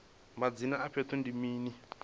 madzina a fhethu ndi mini